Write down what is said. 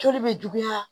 Joli bɛ juguya